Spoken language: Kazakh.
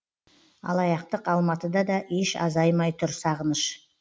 алаяқтық алматыда да еш азаймай тұр сағыныш